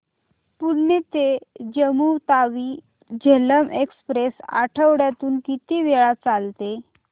पुणे ते जम्मू तावी झेलम एक्स्प्रेस आठवड्यातून किती वेळा चालते